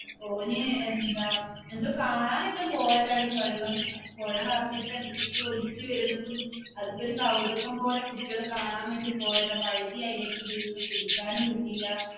ഓന് അഹ് എന്താ എന്തോ കാണാൻ ആട്ടെ പോയതാടി വെള്ളം പുഴ നിറഞ്ഞിട്ട് എന്തോക്കെകയോ ഒലിച്ചു വരുന്നതും അതൊക്കെ ഒരു കൗതുകം പോലെ കുട്ടികള് കാണാൻ ആട്ടെ പോയതാ വഴുതി അതിലേക്ക് വീണു പിടിക്കാനും കിട്ടിലാ.